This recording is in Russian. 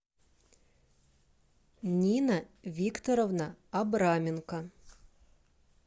нина викторовна абраменко